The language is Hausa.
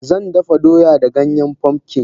Zandafa doya da Ganyen pumpkin.